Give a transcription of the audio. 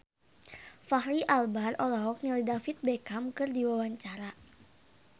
Fachri Albar olohok ningali David Beckham keur diwawancara